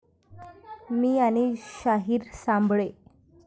मी आणि शाहीर साबळे'